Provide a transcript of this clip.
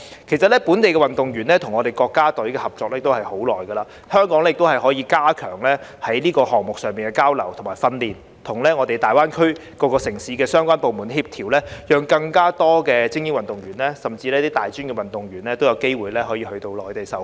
其實，本地運動員與國家隊合作已久，香港可加強更多項目上的交流訓練，與大灣區各城市的相關部門協調，讓更多精英運動員，甚至大專運動員都有機會到內地受訓。